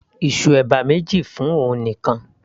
ìsù ẹ̀bà méjì fún òun nìkan